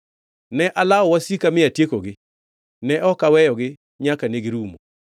“Ne alawo wasika mi atiekogi; ne ok aweyogi nyaka negirumo.